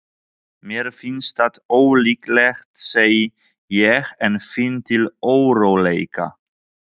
Mér finnst það ólíklegt, segi ég en finn til óróleika.